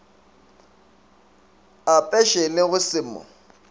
apeše le go se mo